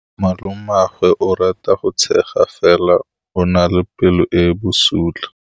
Malomagwe o rata go tshega fela o na le pelo e e bosula.